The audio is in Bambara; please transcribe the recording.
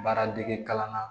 Baara dege kalan na